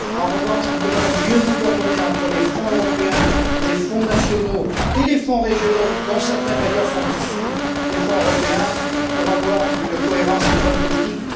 En revanche, nous devons assurer une meilleure coordination entre les fonds européens, les fonds nationaux et les fonds régionaux dont certains d'ailleurs sont issus des fonds européens pour avoir une cohérence et une bonne politique.